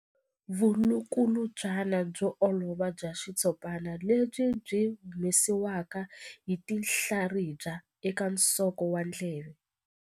Vulukulutswana byo olova bya xitshopana lebyi byi humesiwaka hi tinhlaribya eka nsoko wa ndleve.